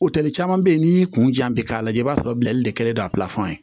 O tɛli caman bɛ yen n'i y'i kun jan bi k'a lajɛ i b'a sɔrɔ bilali de kɛlen don a pilafɛn